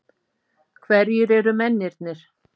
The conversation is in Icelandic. Hverjir eru mennirnir?